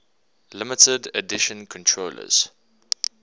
limited edition controllers